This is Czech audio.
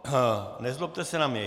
Nezlobte se na mě.